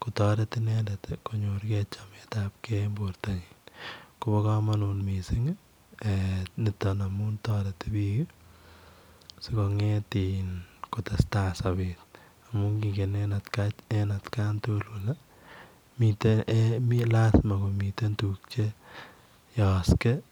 kotaret inendet konyoor chametaab gei en borto nyiin koba kamanut nitoon missing amuun taretii biik ii sikongeet ii kotestai sabeet amuun kingeen en at kaan tugul kole miten lazima komiteen tuguuk che yaaksei ii.